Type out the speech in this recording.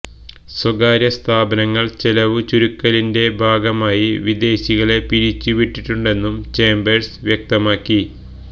സ്വകാര്യ സ്ഥാപനങ്ങള് ചെലവു ചുരുക്കലിന്റെ ഭാഗമായി വിദേശികളെ പിരിച്ചുവിട്ടിട്ടുണ്ടെന്നും ചേംബേഴ്സ് വ്യക്തമാക്കി